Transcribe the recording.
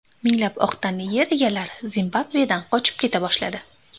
Minglab oq tanli yer egalari Zimbabvedan qochib keta boshladi.